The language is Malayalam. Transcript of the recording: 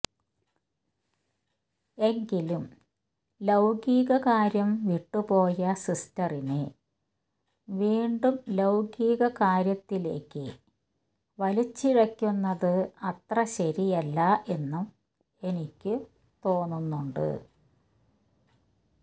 എങ്കിലും ലൌകികകാര്യം വിട്ടുപോയ സിസ്റ്ററിനെ വീണ്ടും ലൌകികകാര്യത്തിലേക്കു വലിച്ചിഴയ്ക്കുന്നത് അത്ര ശരിയല്ല എന്നും എനിക്കു തോന്നണുണ്ട്